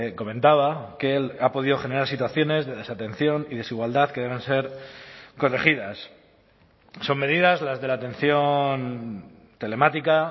comentaba que él ha podido generar situaciones de desatención y desigualdad que deben ser corregidas son medidas las de la atención telemática